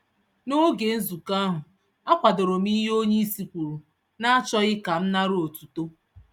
N'oge nzukọ ahụ, akwadorom ihe onyeisi kwùrù, nachọghị kam nàrà otuto.